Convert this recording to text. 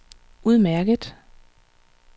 udmærket